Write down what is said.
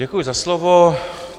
Děkuji za slovo.